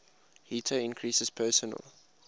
heater increases personal